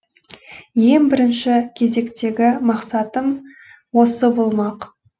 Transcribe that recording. ең бірінші кезектегі мақсатым осы болмақ